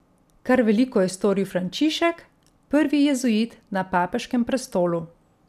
Kar veliko je storil Frančišek, prvi jezuit na papeškem prestolu.